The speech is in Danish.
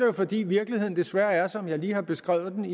jo fordi virkeligheden desværre er som jeg lige har beskrevet den